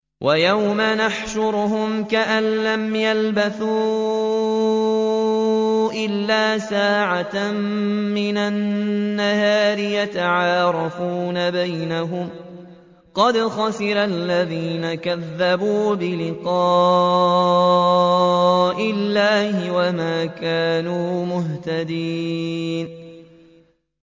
وَيَوْمَ يَحْشُرُهُمْ كَأَن لَّمْ يَلْبَثُوا إِلَّا سَاعَةً مِّنَ النَّهَارِ يَتَعَارَفُونَ بَيْنَهُمْ ۚ قَدْ خَسِرَ الَّذِينَ كَذَّبُوا بِلِقَاءِ اللَّهِ وَمَا كَانُوا مُهْتَدِينَ